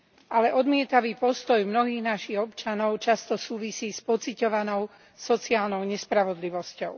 Ale odmietavý postoj mnohých našich občanov často súvisí s pociťovanou sociálnou nespravodlivosťou.